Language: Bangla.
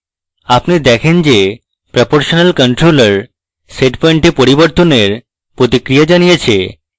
আপনি দেখেন যে proportional controller setpoint এ পরিবর্তনের প্রতিক্রিয়া জানিয়েছে